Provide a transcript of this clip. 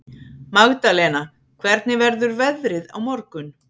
Magdalena, hvernig verður veðrið á morgun?